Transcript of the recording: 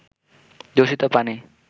দূষিত পানি